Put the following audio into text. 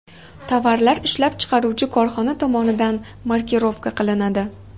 Tovarlar ishlab chiqaruvchi korxona tomonidan markirovka qilinadi.